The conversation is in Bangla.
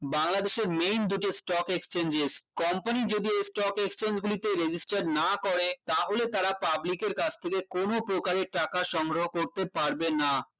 বাংলাদেশের main যেটা stock exchanges company যদি stock exchange গুলিতে register না করে তাহলে তারা public এর কাছ থেকে কোন প্রকারের টাকা সংগ্রহ করতে পারবেনা